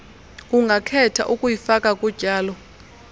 ungakhetha ukuyifaka kutyalo